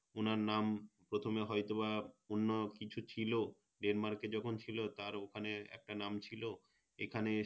ওনার নাম প্রথমে হয়তো বা অন্য কিছু ছিল Denmark এ যখন ছিল তার ওখানে একটা নাম ছিল এখানে এসে